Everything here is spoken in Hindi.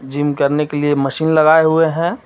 जिम करने के लिए मशीन लगाए हुए हैं.